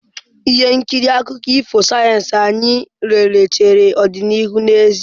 Ihe nkiri akụkọ ifo sayensị ahụ anyị lere chere ọdịnihu n'ezie.